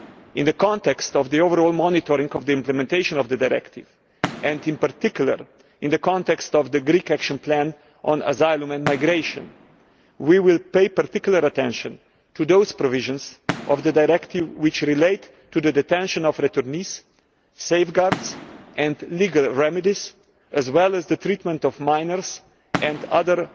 In the context of the overall monitoring of the implementation of the directive, and in particular in the context of the Greek Action Plan on Asylum and Migration, we will pay particular attention to those provisions of the directive which relate to the detention of returnees, safeguards and legal remedies, as well as the treatment of minors and other